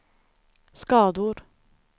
skador